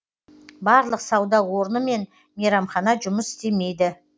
барлық сауда орны мен мейрамхана жұмыс істемейді